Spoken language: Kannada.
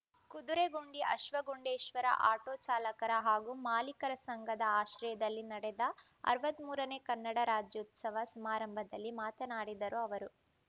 ಕುದುರೆಗುಂಡಿ ಅಶ್ವಗುಂಡೇಶ್ವರ ಆಟೋ ಚಾಲಕರ ಹಾಗೂ ಮಾಲೀಕರ ಸಂಘದ ಆಶ್ರಯದಲ್ಲಿ ನಡೆದ ಅರವತ್ತ್ ಮೂರನೇ ಕನ್ನಡ ರಾಜ್ಯೋತ್ಸವ ಸಮಾರಂಭದಲ್ಲಿ ಮಾತನಾಡಿದರು ಅವರು